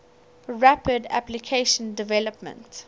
rapid application development